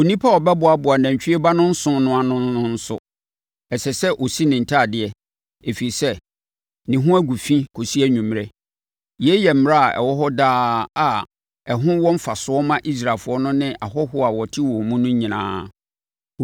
Onipa a ɔbɛboaboa nantwie ba no nsõ no ano no nso, ɛsɛ sɛ ɔsi ne ntadeɛ, ɛfiri sɛ, ne ho gu fi kɔsi anwummerɛ; yei yɛ mmara a ɛwɔ hɔ daa a ɛho wɔ mfasoɔ ma Israelfoɔ no ne ahɔhoɔ a wɔte wɔn mu no nyinaa.